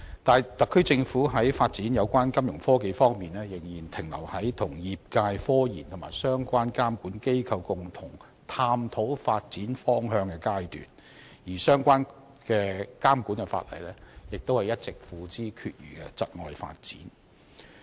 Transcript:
但是，特區政府在金融科技發展方面仍然停留於與業界進行科研，以及與相關監管機構共同探討發展方向的階段，而相關監管法例亦一直付之闕如，窒礙發展。